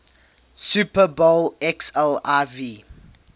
super bowl xliv